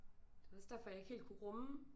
Det var også derfor jeg ikke helt kunne rumme